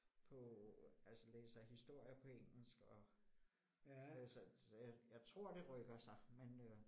På altså læser historier på engelsk og øh så så jeg jeg tror det rykker sig men øh